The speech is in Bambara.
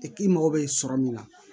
k'i mago bɛ sɔrɔ min na